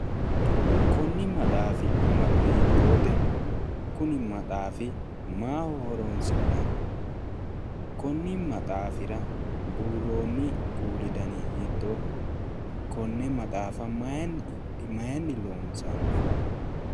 Konni maxaafi amado hiittoote? Kuni maxaafi maaho horoonsi'nanni? Konni maxasfira buurroonni kuuli dani hiittooho? Konne maxaafa mayinni loonsanni?